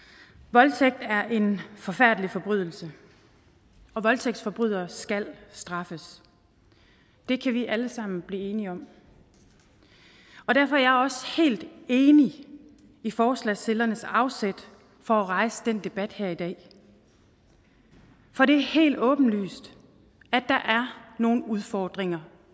voldtægt er en forfærdelig forbrydelse og voldtægtsforbrydere skal straffes det kan vi alle sammen blive enige om og derfor er jeg også helt enig i forslagsstillernes afsæt for at rejse den debat her i dag for det er helt åbenlyst at der er nogle udfordringer